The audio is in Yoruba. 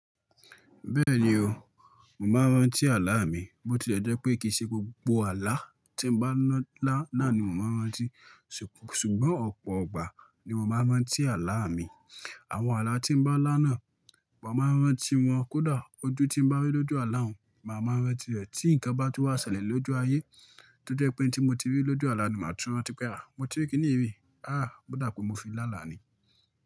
Bẹ́ẹ̀ni o, mò máa ń rántí àlá mi. Bo ti ẹ́ jẹ́ pé kì í ṣe gbogbo àlá tí n bá lá nà ni mo máa ń rántí. Ṣùgbọ́n ọ̀pọ̀ ọgbà ni mo máa ń rántí àlá mi. Àwọn àlá tí n bá lá nà, mo máa ń rántí wọn. Kódà, ojú tí mo bá rí ní ojú àlá un, màá ma ń rántí rẹ̀, tí ǹkan bá tú wá ṣẹlẹ̀ ní ojú ayé tí ó jẹ́ wípé ohun tí mo ti rí ní ojú àlá ni màá tún rántí rẹ̀. Àáà, ó dà pé mo fi lá là ni.